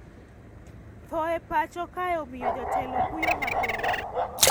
Thoe mapacho kae omiyo jotelo kuyo mathoth